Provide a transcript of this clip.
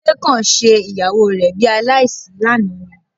Kúnlé kàn ṣe ìyàwó rẹ bi aláìsí lánàá ni